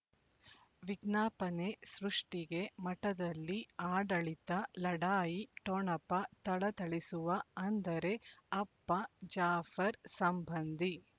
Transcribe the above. ವಿಜ್ಞಾಪನೆ ಸೃಷ್ಟಿಗೆ ಮಠದಲ್ಲಿ ಆಡಳಿತ ಲಢಾಯಿ ಠೊಣಪ ಥಳಥಳಿಸುವ ಅಂದರೆ ಅಪ್ಪ ಜಾಫರ್ ಸಂಬಂಧಿ